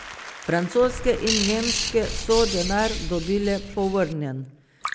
Francoske in nemške so denar dobile povrnjen.